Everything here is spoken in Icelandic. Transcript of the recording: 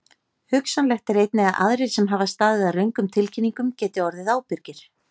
Hugsanlegt er einnig að aðrir sem hafa staðið að röngum tilkynningum geti orðið ábyrgir.